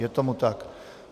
Je tomu tak.